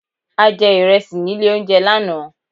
A jẹ ìrẹsì nílé oúnjẹ lánáà